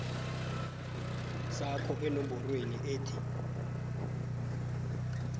sakho enomborweni ethi